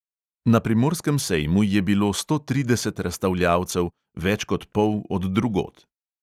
Na primorskem sejmu je bilo sto trideset razstavljavcev, več kot pol od drugod.